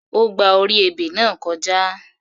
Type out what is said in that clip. Ó gba orí ebè náà kọjá.